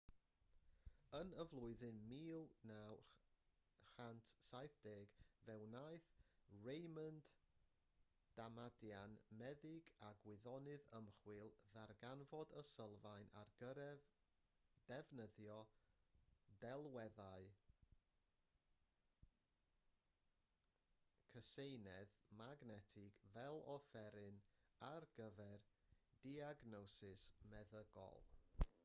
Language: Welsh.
yn y flwyddyn 1970 fe wnaeth raymond damadian meddyg a gwyddonydd ymchwil ddarganfod y sylfaen ar gyfer defnyddio delweddu cyseinedd magnetig fel offeryn ar gyfer diagnosis meddygol